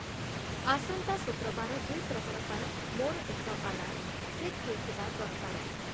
ଆସନ୍ତା ଶୁକ୍ରବାର ଦ୍ଵି'ପ୍ରହର ପାଇଁ ମୋର ଏକ ଆଲାର୍ମ ସେଟ ହେଇଥିବା ଦରକାର